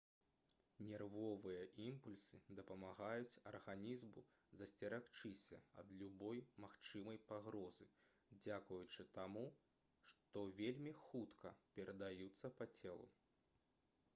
нервовыя імпульсы дапамагаюць арганізму засцерагчыся ад любой магчымай пагрозы дзякуючы таму што вельмі хутка перадаюцца па целу